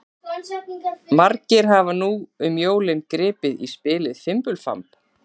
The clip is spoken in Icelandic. Margir hafa nú um jólin gripið í spilið Fimbulfamb.